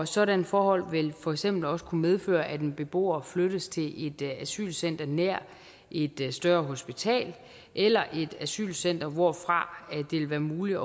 sådanne forhold vil for eksempel også kunne medføre at en beboer flyttes til et asylcenter nær et større hospital eller et asylcenter hvorfra det vil være muligt